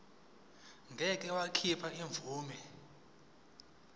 ngeke wakhipha imvume